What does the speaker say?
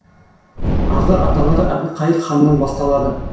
арғы аталары әбілқайыр ханнан басталады